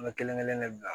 An bɛ kelen kelen de bila